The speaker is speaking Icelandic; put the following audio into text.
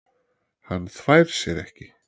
Hann þvær sér ekki.